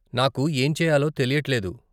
నాకు ఏం చేయాలో తెలియట్లేదు.